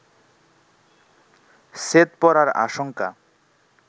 ছেদ পড়ার আশঙ্কা